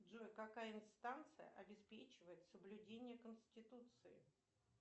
джой какая инстанция обеспечивает соблюдение конституции